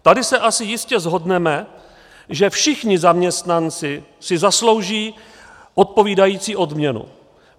Tady se asi jistě shodneme, že všichni zaměstnanci si zaslouží odpovídající odměnu.